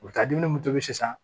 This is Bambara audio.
U bɛ taa dumuni mun tobi sisan